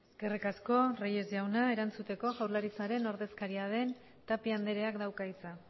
eskerrik asko reyes jauna erantzuteko jaurlaritzaren ordezkaria den tapia andreak dauka hitza